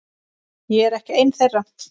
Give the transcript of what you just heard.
Ég er ekki ein þeirra.